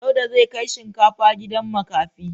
Dauda zai kai shinkafa gidan makafi.